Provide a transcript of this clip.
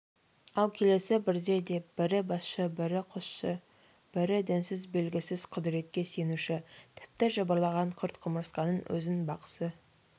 ал келесі бірде деп бірі басшы бірі қосшы бірі дінсіз белгісіз құдіретке сенушіні тіпті жыбырлаған құрт-құмырсқаның өзін бақсы